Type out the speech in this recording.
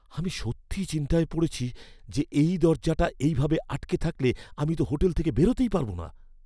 আমি সত্যিই চিন্তায় পড়েছি যে এই দরজাটা এই ভাবে আটকে থাকলে আমি তো হোটেল থেকে বেরোতেই পারব না।